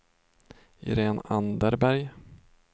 Irene Anderberg